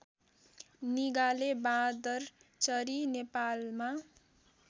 निगाले बाँदरचरी नेपालमा